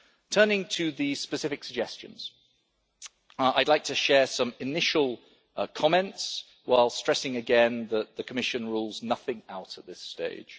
Turning to the specific suggestions, I would like to share some initial comments while stressing again that the Commission rules nothing out at this stage.